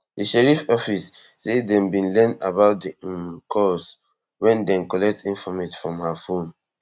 di sheriff office say dem bin learn about di um calls wen dem collect informate from her phone